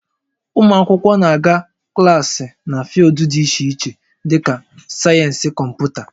Ụmụ akwụkwọ na-aga klaasị na fịụldụ dị iche iche dịka sayensị Kọmputa